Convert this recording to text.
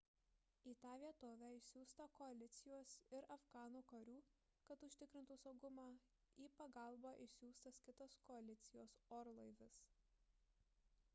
į tą vietovę išsiųsta koalicijos ir afganų karių kad užtikrintų saugumą į pagalbą išsiųstas kitas koalicijos orlaivis